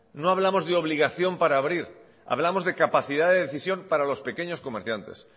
no hablamos de obligación para abrir hablamos de capacidad de decisión para los pequeños comerciantes